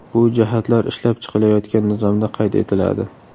Bu jihatlar ishlab chiqilayotgan nizomda qayd etiladi.